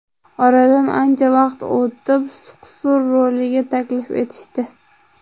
Oradan ancha vaqt o‘tib, Suqsur roliga taklif etishdi.